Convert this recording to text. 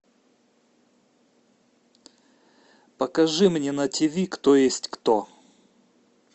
покажи мне на ти ви кто есть кто